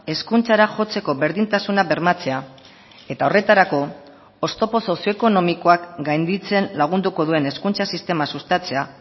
hezkuntzara jotzeko berdintasuna bermatzea eta horretarako oztopo sozioekonomikoak gainditzen lagunduko duen hezkuntza sistema sustatzea